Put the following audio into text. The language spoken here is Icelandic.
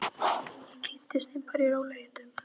Ég kynnist þeim bara í rólegheitum.